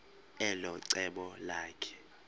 elo cebo lakhe